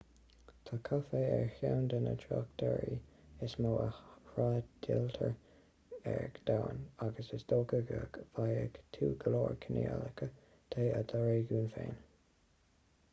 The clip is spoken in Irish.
tá caife ar cheann de na tráchtearraí is mó a thrádáiltear ar domhan agus is dócha go bhfaighidh tú go leor cineálacha de i do réigiún féin